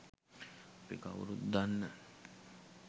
අපි කව්රුත් දන්න